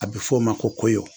A be f'o ma ko koyo